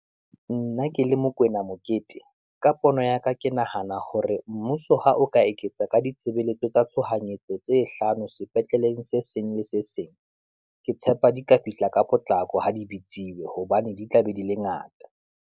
Nna ke le Mokoena Mokete ka pono ya ka, ke nahana hore mmuso ha o ka eketsa ka ditshebeletso tsa tshohanyetso, tse hlano sepetleleng se seng le se seng. Ke tshepa di ka fihla ka potlako, ha di dibitsiwe hobane di tla be di le ngata.